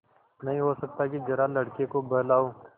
नहीं हो सकता कि जरा लड़के को बहलाओ